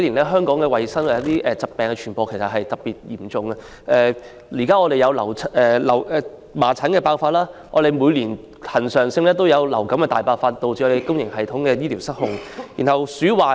香港近年疾病傳播問題都比較嚴重，現時有麻疹疫症爆發，每年亦恆常有流感大爆發，以致公營醫療系統不堪負荷。